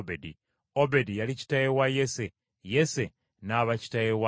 Obedi yali kitaawe wa Yese, Yese n’aba kitaawe wa Dawudi.